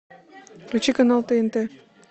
включи канал тнт